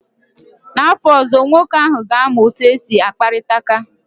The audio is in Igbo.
N'afọ ọzọ, nwoke ahụ ga-amụ otu esi akparịta ka